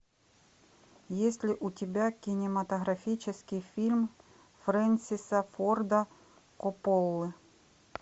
есть ли у тебя кинематографический фильм фрэнсиса порда копполы